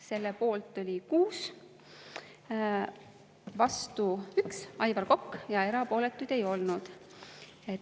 Selle poolt oli 6, vastu 1 – Aivar Kokk – ja erapooletuid ei olnud.